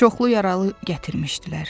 Çoxlu yaralı gətirmişdilər.